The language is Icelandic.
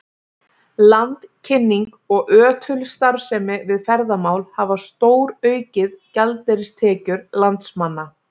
Landkynning og ötul starfsemi við ferðamál hafa stóraukið gjaldeyristekjur landsmanna.